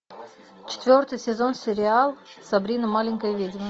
четвертый сезон сериал сабрина маленькая ведьма